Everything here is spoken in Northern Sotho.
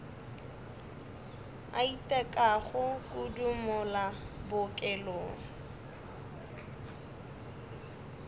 a itekago kudu mola bookelong